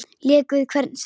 Lék við hvern sinn fingur.